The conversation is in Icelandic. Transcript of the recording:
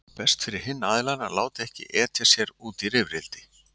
Þá er best fyrir hinn aðilann að láta ekki etja sér út í rifrildi.